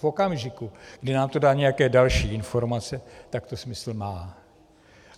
V okamžiku, kdy nám to dá nějaké další informace, tak to smysl má.